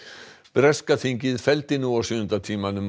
breska þingið felldi nú á sjöunda tímanum